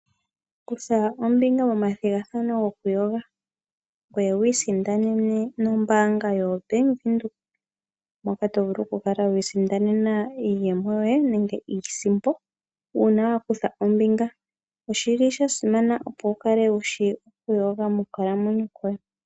Kutha ombinga momathigathano goku yoga ngoye wiisindanene no bank Windhoek moka tovulu okwiisindanena iiyemo nenge iisimpo uuna wakutha ombinga. Oshili shasimana opo wukale wushi okuyoga mokukalamwenyo koye.